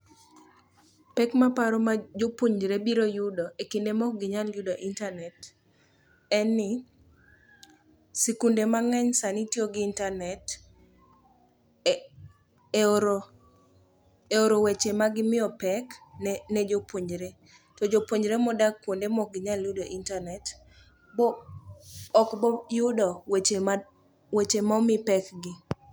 Pek maparo ma jopuonjre biro yudo e kinde maok ginyal yudo intanet en ni, sikunde mang'eny sani tiyo gi intanet e oro weche magimiyo pek ne jopuonjre to jopuonjre modak kuonde mokginyal yudo intanet okboyudo weche momi pekgi.